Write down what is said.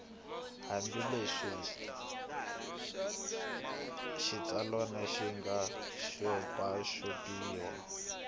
hambileswi xitsalwana xi nga xopaxopiwa